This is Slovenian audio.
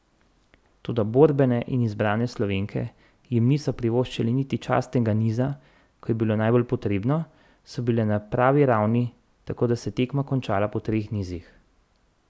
Toda borbene in zbrane Slovenke jim niso privoščile niti častnega niza, ko je bilo najbolj potrebno, so bile na pravi ravni, tako da se je tekma končala po treh nizih.